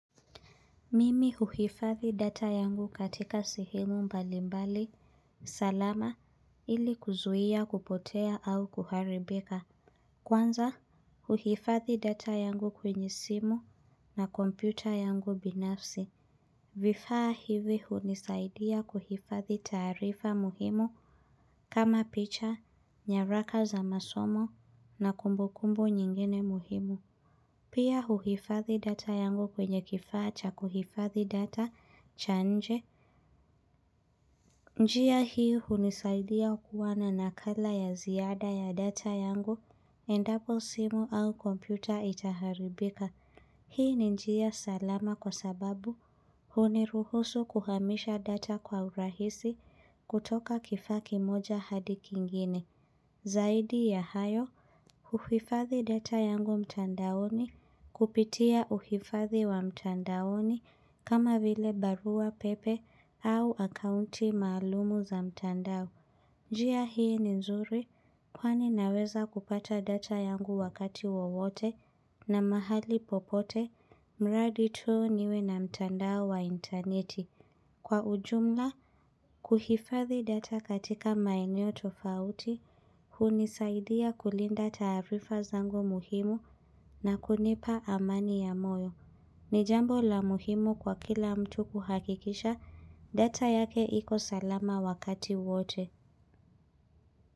Mimi uhifadhi data yangu katika sehemu mbalimbali, salama, ili kuzuia kupotea au kuharibika. Kwanza, uhifadhi data yangu kwenye simu na kompyuta yangu binafsi. Vifaa hivi hunisaidia kuhifadhi taarifa muhimu kama picha, nyaraka za masomo na kumbukumbu nyingine muhimu. Pia uhifadhi data yangu kwenye kifaa cha kuhifadhi data cha nje. Njia hii hunisaidia kuwa na nakala ya ziada ya data yangu, endapo simu au kompyuta itaharibika. Hii ni njia salama kwa sababu huniruhusu kuhamisha data kwa urahisi kutoka kifaa ki moja hadi kingine. Zaidi ya hayo, uhifadhi data yangu mtandaoni kupitia uhifadhi wa mtandaoni kama vile barua pepe au akaunti maalumu za mtandao. Njia hii ni nzuri kwani naweza kupata data yangu wakati wowote na mahali popote mradi tu niwe na mtandao wa interneti. Kwa ujumla, kuhifadhi data katika maeneo tofauti, hunisaidia kulinda taarifa zangu muhimu na kunipa amani ya moyo. Nijambo la muhimu kwa kila mtu kuhakikisha data yake iko salama wakati wote.